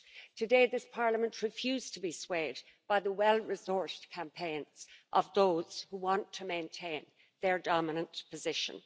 Today, this Parliament refused to be swayed by the well-resourced campaigns of those who want to maintain their dominant position.